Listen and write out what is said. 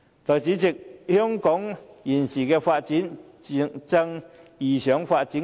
代理主席，香港現時正遇上發展瓶頸。